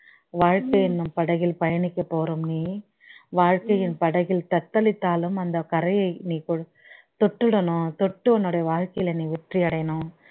வாழ்க்கை என்னும் படகில் பயனிக்க போகும் நீ வாழ்கையில் படகில் தத்தளித்தாலும் அந்த கரையை நீ தொ தொட்டிடனும் தொட்டு உன்னுடைய வாழ்கையில் நீ வெற்றி அடையணும்